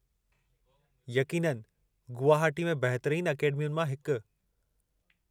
यक़ीननि, गुवहाटी में बहितरीनु अकैडमियुनि मां हिकु।